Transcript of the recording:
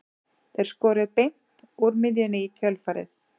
Þeir skoruðu beint úr miðjunni í kjölfarið.